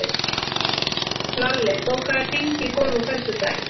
Lalli, bókaðu hring í golf á föstudaginn.